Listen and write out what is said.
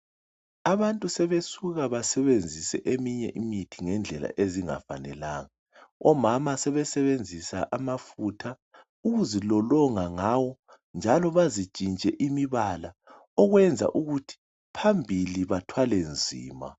abantu sebesuka basebenzise eminye imithi ngendlela ezingafanelanga omama sebesebenzisa amafutha ukuzelolonga ngawo njalo bazitshintshe imibala okwenza ukuthi phambili bathwale nzima